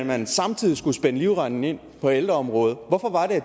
man samtidig skulle spænde livremmen ind på ældreområdet hvorfor var det